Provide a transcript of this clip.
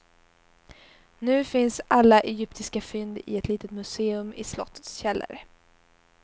Nu finns alla egyptiska fynd i ett litet museum i slottets källare.